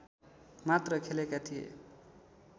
मात्र खेलेका थिए